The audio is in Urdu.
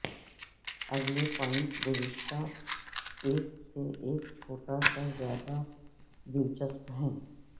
اگلے پوائنٹ گزشتہ ایک سے ایک چھوٹا سا زیادہ دلچسپ ہے